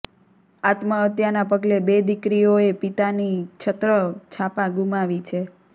આત્મહત્યાના પગલે બે દિકરીઓએ પિતાની છત્ર છાપા ગુમાવી છે